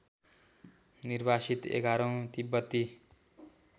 निर्वासित एघारौँ तिब्बती